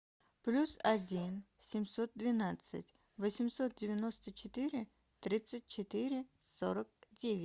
плюс один семьсот двенадцать восемьсот девяносто четыре тридцать четыре сорок девять